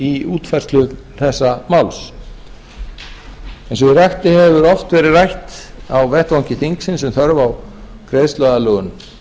í útfærslu þessa máls eins og ég rakti hefur oft verið rætt á vettvangi þingsins um þörf á greiðsluaðlögun